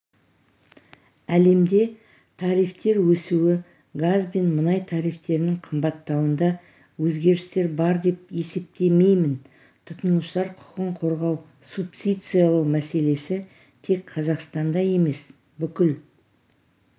әлемде тарифтер өсуі газ бен мұнай тарифтерінің қымбаттауында өзгерістер бар деп есептемеймін тұтынушылар құқын қорғау субсидиялау мәселесі тек қазақстанда емес бүкіл